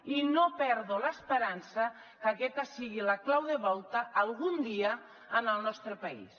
i no perdo l’esperança que aquesta sigui la clau de volta algun dia en el nostre país